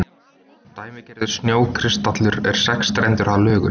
Dæmigerður snjókristallur er sexstrendur að lögum.